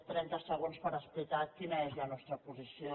trenta segons per explicar quina és la nostra posició